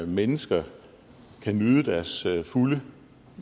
mennesker kan nyde deres fulde